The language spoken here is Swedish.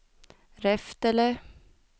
Reftele